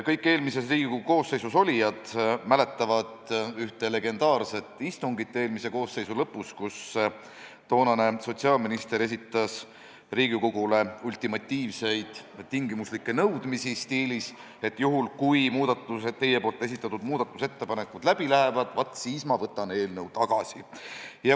Kõik eelmises Riigikogu koosseisus olnud mäletavad ühte legendaarset istungit eelmise koosseisu lõpus, kui toonane sotsiaalminister esitas Riigikogule ultimatiivseid tingimuslikke nõudmisi stiilis, et juhul kui teie esitatud muudatusettepanekud läbi lähevad, vaat siis ma võtan eelnõu tagasi.